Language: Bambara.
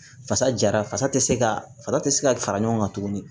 Fasa jara fasa tɛ se ka fasa tɛ se ka fara ɲɔgɔn kan tuguni